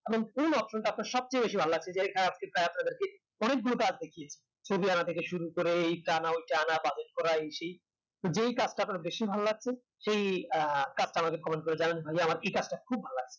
এমন কোন option টা আপনার সব চেয়ে বেশি ভাল লাগছে তাই group এ আছে কি ছবি আঁকা থেকে শুরু করে এই চান ওই চান এই সেই যেই কাজটা আপনার বেশি ভালো লাগছে সে আহ cup টা আমাকে comment করে জানান টা খুব ভালো লাগে